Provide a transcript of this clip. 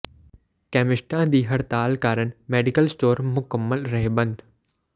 ਕੈਮਿਸਟਾਂ ਦੀ ਹੜਤਾਲ ਕਾਰਨ ਮੈਡੀਕਲ ਸਟੋਰ ਮੁਕੰਮਲ ਰਹੇ ਬੰਦ